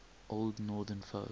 old northern folk